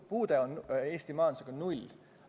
Puutumus Eesti majandusega on null.